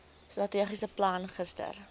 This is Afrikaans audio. strategiese plan gister